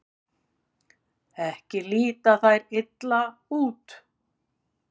Ekki líta þær illa út.